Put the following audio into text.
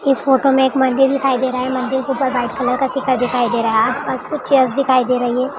इस फोटो मे एक मंदिर दिखाई दे रहा है मंदिर के ऊपर व्हाइट कलर का शिखर दिखाई दे रहा है कुछ चेयर दिखाई दे रही है।